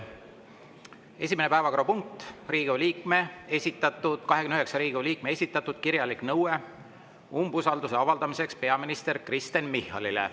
Esimene päevakorrapunkt: 29 Riigikogu liikme esitatud kirjalik nõue umbusalduse avaldamiseks peaminister Kristen Michalile.